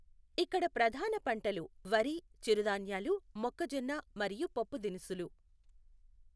ఇక్కడ ప్రధాన పంటలు వరి, చిరుధాన్యాలు, మొక్కజొన్న, మరియు పప్పుదినుసులు.